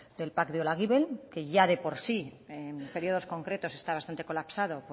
del pac de olaguibel que ya de por sí en periodos concretos está bastante colapsado